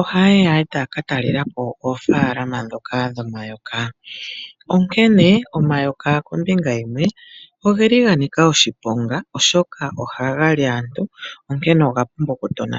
ohaye ya e taya ka talela po oofaalama ndhoka dhomayoka. Ashike, omayoka kombinga yimwe oga nika oshiponga, oshoka ohaga li aantu, onkene oga pumbwa okutonatelwa.